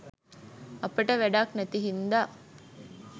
අපට වැඩක් නැති හින්දා